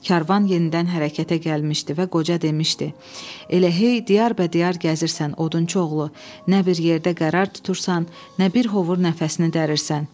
Karvan yenidən hərəkətə gəlmişdi və qoca demişdi: "Elə hey diyar bədiyar gəzirsən odunçuoğlu, nə bir yerdə qərar tutursan, nə bir hovur nəfəsini dərirsən."